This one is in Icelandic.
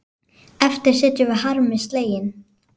Eftir sitjum við harmi slegin.